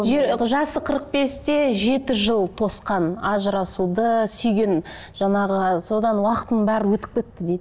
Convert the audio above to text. жасы қырық бесте жеті жыл тосқан ажырасуды сүйген жаңағы содан уақытымның бәрі өтіп кетті дейді